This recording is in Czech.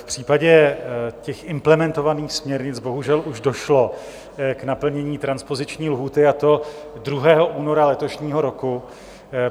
V případě těch implementovaných směrnic bohužel už došlo k naplnění transpoziční lhůty, a to 2. února letošního roku.